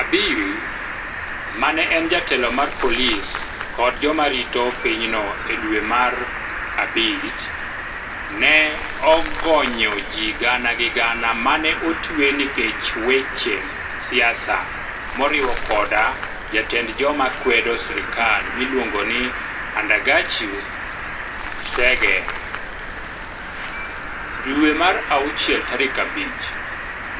Abiy, ma ne en jatelo mar polis kod joma rito pinyno e dwe mar Mei, ne ogonyo ji gana gi gana ma ne otwe nikech weche siasa moriwo koda jatend joma kwedo sirkal miluongo ni Andargachew Tsege. Jun 5,